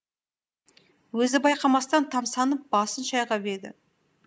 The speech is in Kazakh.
өзі байқамастан тамсанып басын шайқап еді